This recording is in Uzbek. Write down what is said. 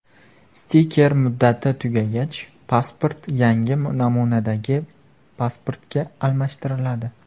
Stiker muddati tugagach, pasport yangi namunadagi pasportga almashtiriladi.